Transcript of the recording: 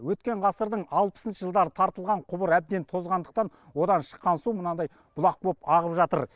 өткен ғасырдың алпысыншы жылдары тартылған құбыр әбден тозғандықтан одан шыққан су мынандай бұлақ боп ағып жатыр